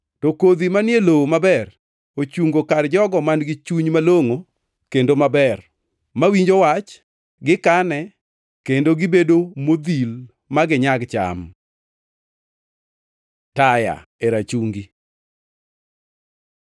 To kodhi manie lowo maber, ochungo kar jogo man-gi chuny malongʼo kendo maber, mawinjo wach, gikane, kendo gibedo modhil ma ginyag cham. Taya e rachungi